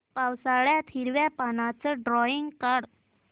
पावसाळ्यातलं हिरव्या पानाचं ड्रॉइंग काढ